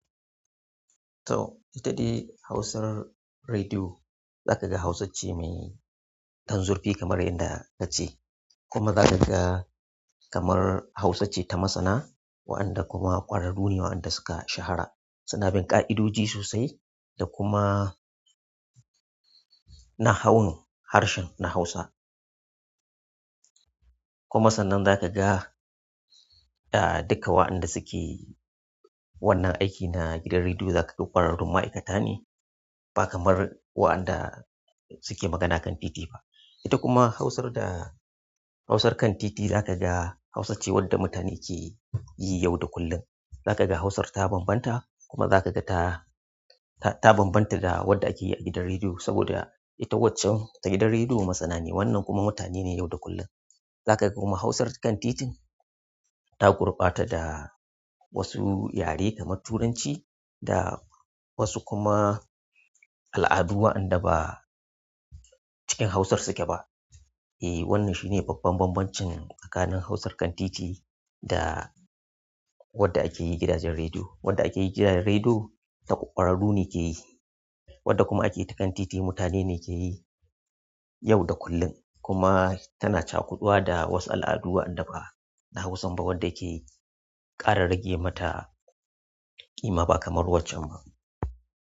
To, ita de hashan rediyo. Za ka ga hausace mai ɗan zurfi kamar yadda mace, kuma za ka gan kamar Hausa ce ta masana, waɗanda kuma ƙwararrune waɗanda suka shahara, suna ƙa'idoji sosai da kuma nahanu harshen na Hausa. Kuma sannan za ka ga, duka waɗanda suke wannan aiki na gidan rediyo za ka ga ƙwararrun ma'aikata ne ba kamar waɗanda suke magana kan dede ba. Ita kuma hausar da hausar kan titi za ka ga Hausa ce wadda mutane ke yi yau da kullum. Za ka ga hausar ta bambanta kuma za ka ga ta, ta bambanta da wadda ake yi a gidan rediyo saboda ita wancan a gidan rediyo masana ne. Wannan kuma mutane ne yau da kullum. Za ka ga kuma hausar kan titin ta gurbata da wasu yare kamar Turanci da wasu kuma al'adu waɗanda ba cikin hausar suke ba. E, wannan shi ne babban bambancin tsakanin hausar kan titi da wadda akeyi gidanjen rediyo, wadda akeyi gidanjen rediyo kwararru ne keyi wanda kuma akeyi ta kan titi mutane ne keyi yau da kullum. Kuma tana cakuduwa da wasu al'adu waɗanda ba na hausan ba wadda ke ƙara rage mata ƙima ba kamar waccan ma.